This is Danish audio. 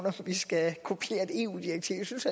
at vi skal kopiere et eu direktiv jeg synes